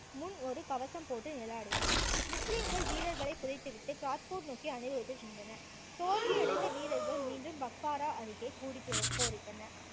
முன் ஒரு கவசம் போட்டு நிழலாடினார் முஸ்லிம்கள் வீரர்களை புதைத்துவிட்டு கிராத்பூர் நோக்கி அணிவகுத்து சென்றனர். தோல்வியடைந்த வீரர்கள் மீண்டும் பக்வாரா அருகே கூடிப் போரிட்டனர்